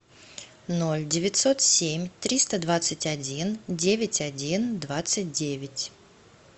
ноль девятьсот семь триста двадцать один девять один двадцать девять